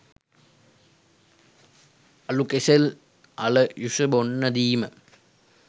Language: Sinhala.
අලු කෙසෙල් අල යුෂ බොන්න දීම